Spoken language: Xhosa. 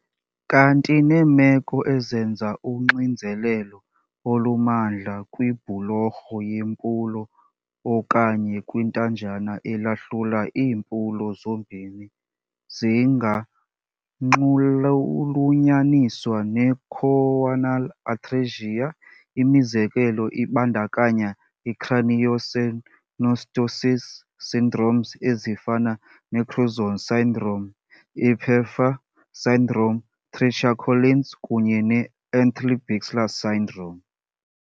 Kanti ke neemeko ezenza uxinzelelo olumandla kwibhulorho yempulo okanye kwithanjana elahlula iimpulo zombini zinganxulunyaniswa ne-choanal atresia. Imizekelo ibandakanya i-craniosynostosis syndromes ezifana ne-Crouzon syndrome, Pfeiffer syndrome, Treacher Collins kunye ne-Antley-Bixler syndrome.